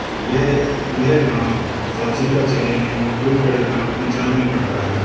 यह यह गांव फाजिल्का जिले में खुड खेड़ा गांव पंजाब में पड़ता है।